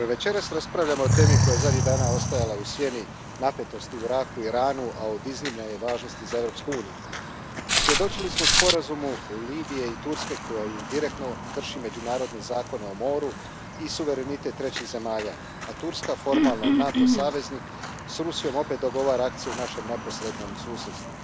Poštovana predsjedavajuća, večeras raspravljamo o temi koja je zadnjih dana ostajala u sjeni napetosti u Iraku i Iranu, a od iznimne je važnosti za Europsku uniju. Svjedočili smo sporazumu Libije i Turske, koji i direktno krši međunarodne zakone o moru i suverenitet trećih zemalja, a Turska, formalno NATO saveznik, s Rusijom opet dogovara akcije u našem neposrednom susjedstvu.